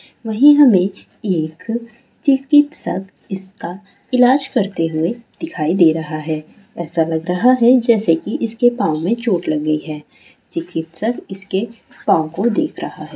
वही हमें एक चिकत्सक इसका इलाज करते हुए दिखाई दे रहा है ऐसा लग रहा है जैसे कि इसके पांव में चोट लगी है चिकित्सक इसके पांव को देख रहे है।